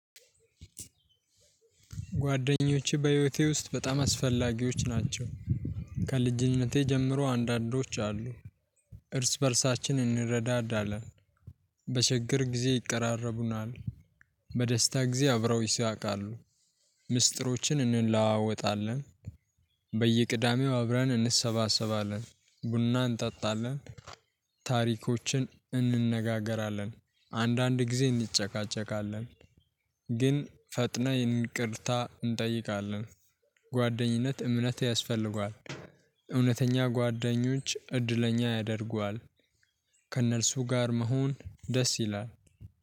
ጓደኞቼ በህይወቴ ውስጥ በጣም አስፈላጊዎች ናቸው። ከልጅነቴ ጀምሮ አንዳንዶች አሉ። እርስ በእርሳችን እንረዳዳለን። በችግር ጊዜ ይቀራረቡናል። በደስታ ጊዜ አብረውኝ ይስቃሉ። ምስጢሮችን እንለዋወጣለን። በየቅዳሜው አብረን እንሰባሰባለን ቡና እንጠጣለን። ታሪኮችን እንነጋገራለን አንዳንድ ጊዜ እንጨቃጨቃለን። ግን ፈጥነን ይቅርታ እንጠይቃለን። ጓደኝነት እምነት ያስፈልገዋል። እውነተኛ ጓደኞች እድለኛ ያደርጉሃል። ከእነርሱ ጋር መሆን ደስ ይላል